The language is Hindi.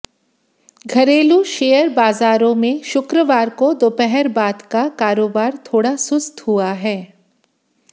घरेलू शेयर बाजारों में शुक्रवार को दोपहर बाद का कारोबार थोड़ा सुस्त हुआ है